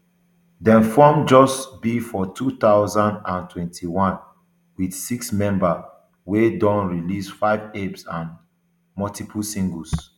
dem form just b for two thousand and twenty-one wit sixmember wey don release five eps and multiple singles